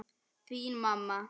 Þín mamma.